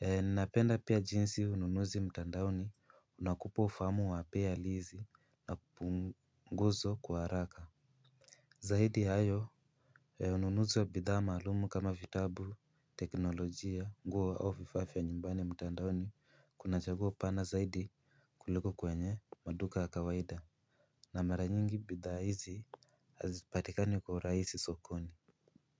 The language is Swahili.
Ninapenda pia jinsi ununuzi mtandaoni unakupa ufahamu wa bei halisi na punguzo kwa haraka. Zaidi ya hayo ununuzi wa bidhaa maalum kama vitabu, teknolojia, nguo au vifaa vya nyumbani mtandaoni kuna chaguo pana. Zaidi kuliko kwenye maduka ya kawaida na mara nyingi bidhaa hizi hazipatikani kwa urahisi sokoni.